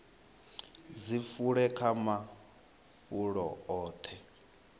dzi fule kha mafulo oṱhe